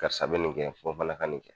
Karisa bɛ nin kɛ fo nfana ka nin kɛ.